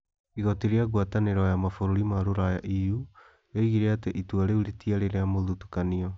Igooti rĩa ngwatanĩro ya Mabũrũri ma Rũraya (EU) rĩoigĩre atĩ itua rĩu rĩtiarĩ na mũthutũkanio.